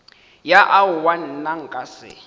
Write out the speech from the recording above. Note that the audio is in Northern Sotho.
ya aowa nna nka se